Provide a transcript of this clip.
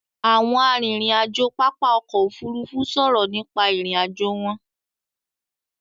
Àwọn arìnrìn-àjò pápá ọkọ̀ Òfurufú sọ̀rọ̀ nípa ìrìn-àjò wọn.